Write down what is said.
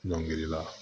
Ɲɔngirila